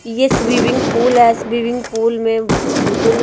ये swimming pool है swimming pool में बिल्कुल--